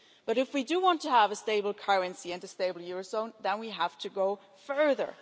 But if we do want to have a stable currency and a stable eurozone, then we have to go further.